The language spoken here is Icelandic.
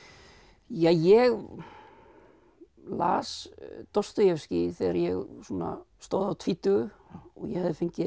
ja ég las þegar ég svona stóð á tvítugu ég hafði fengið